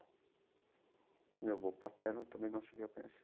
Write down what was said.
E meu avô paterno eu também não cheguei a conhecer.